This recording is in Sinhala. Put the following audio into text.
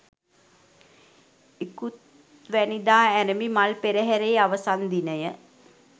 ඉකුත්වැනිදා අරැඹි මල් පෙරහරේ අවසන් දිනය